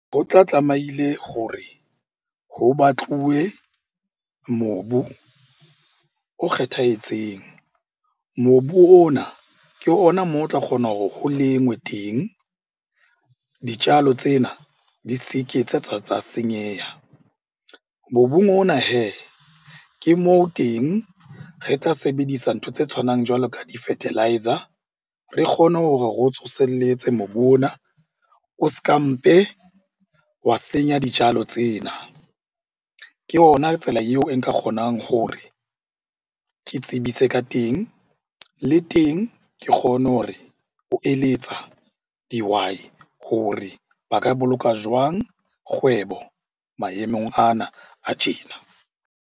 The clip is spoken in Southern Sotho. Ho tla tlamaile hore ho batluwe mobu o kgethehatseng. Mobu ona ke ona moo o tla kgona hore ho lengwe teng, dijalo tsena di se ke tsa senyeha. Mobung ona hee, ke moo teng re tla sebedisa ntho tse tshwanang jwalo ka di fertiliser. Re kgone hore re o tsoselletse mobu ona, o s'ka mpe wa senya dijalo tsena. Ke ona tsela eo e nka kgonang hore ke tsebise ka teng. Le e teng ke kgone hore, o eletsa dihwai hore ba ka boloka jwang kgwebo maemong ana a tjena.